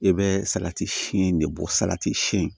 I bɛ salati si in de bɔ salati si in